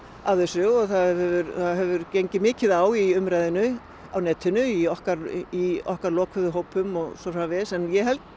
af þessu og það hefur hefur gengið mikið á í umræðunni á netinu í okkar í okkar lokuðu hópum og svo framvegis en ég held